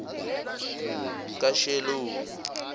kashelomi